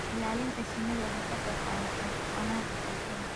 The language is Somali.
Ilaalinta shinnidu waxay ka qaybqaadataa wanaagga bulshada.